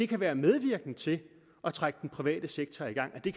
kan være medvirkende til at trække den private sektor i gang at det